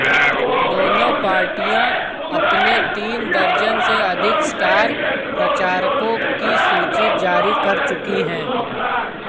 दोनों पार्टियां अपने तीन दर्जन से अधिक स्टार प्रचारकों की सूची जारी कर चुकी है